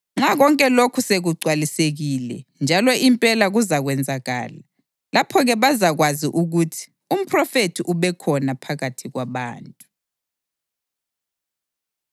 Nxa konke lokhu sekugcwalisekile njalo impela kuzakwenzakala, lapho-ke bazakwazi ukuthi umphrofethi ubekhona phakathi kwabantu.”